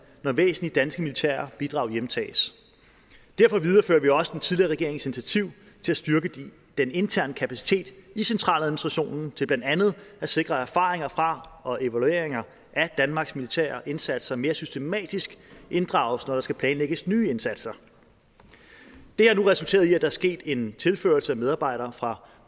når væsentlige danske militære bidrag hjemtages derfor viderefører vi også den tidligere regerings initiativ til at styrke den interne kapacitet i centraladministrationen til blandt andet at sikre at erfaringer fra og evalueringer af danmarks militære indsatser mere systematisk inddrages når der skal planlægges nye indsatser det har nu resulteret i at der er sket en tilførsel af medarbejdere fra